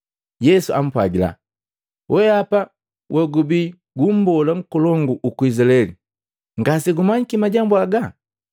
Yesu ampwagila, “Wehapa wogubii gu mbola nkolongu uku Izilaeli, ngasegumanyiki majambu haga?